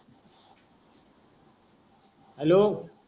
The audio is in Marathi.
हॅलो